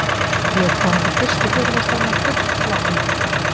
Ég kom til fyrstu fyrirlestranna full lotningar.